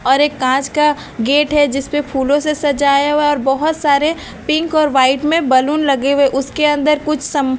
और एक कांच का गेट है जिस पे फूलों से सजाया हुआ है और बहुत सारे पिंक और वाइट मे बलून लगे हुये है उसके अन्दर कुछ सम--